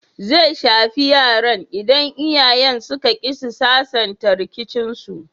Zai shafi yaran idan iyayen suka ƙi su sasanta rikicinsu.